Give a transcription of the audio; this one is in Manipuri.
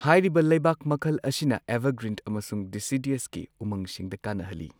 ꯍꯥꯏꯔꯤꯕ ꯂꯩꯕꯥꯛ ꯃꯈꯜ ꯑꯁꯤꯅ ꯑꯦꯚꯔꯒ꯭ꯔꯤꯟ ꯑꯃꯁꯨꯡ ꯗꯦꯁꯤꯗꯨꯋꯁꯀꯤ ꯎꯃꯪꯁꯤꯡꯗ ꯀꯥꯟꯅꯍꯜꯂꯤ꯫